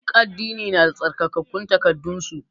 Duk addini na da tsarkakun takaddan su.